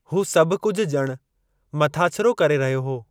हू सभु कुझु ॼणु मथाछिरो करे रहियो हो।